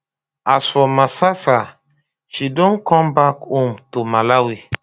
as for masasa she don come back home to malawi